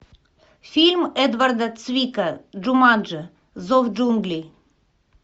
фильм эдварда цвика джуманджи зов джунглей